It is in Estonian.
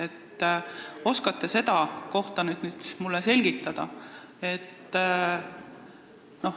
Kas oskate seda mulle selgitada?